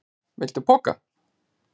Viltu poka?